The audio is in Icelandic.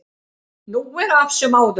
Nú er af sem áður var